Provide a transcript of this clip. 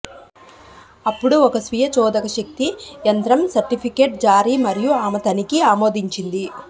అప్పుడు ఒక స్వీయ చోదక శక్తి యంత్రం సర్టిఫికెట్ జారీ మరియు ఆమె తనిఖీ ఆమోదించింది